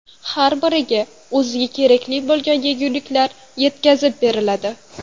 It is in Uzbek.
Har biriga o‘ziga kerakli bo‘lgan yeguliklar yetkazib beriladi.